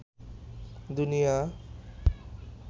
দুনিয়া